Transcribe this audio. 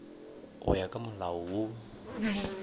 go ya ka molao wo